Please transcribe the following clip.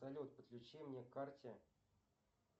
салют подключи мне к карте